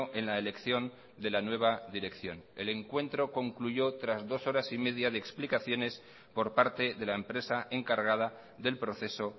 en la elección de la nueva dirección el encuentro concluyó tras dos horas y media de explicaciones por parte de la empresa encargada del proceso